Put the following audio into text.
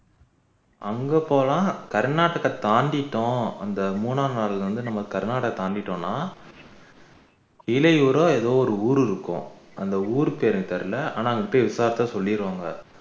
அங்க போனா கர்னாடகா தாண்டிட்டோம் அந்த மூனாம் நாள் வந்து நம்ம கர்னாடகா தாண்டிட்டோம்னா இலையூரா ஏதோ ஒரு ஊரு இருக்கும் அந்த ஊரு பெயர் தெரியல ஆனா அங்க போய் விசாரிச்சா சொல்லிடுவாங்க